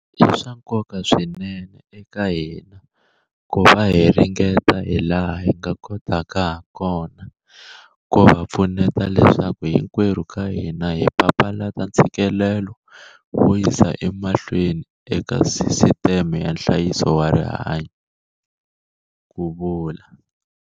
I swa nkoka swinene eka hina ku va hi ringeta hilaha hi nga kotaka hakona ku va pfuneta leswaku hinkwerhu ka hina hi papalata ntshikelelo wo yisa emahlweni eka sisiteme ya nhlayiso wa rihanyu, ku vula.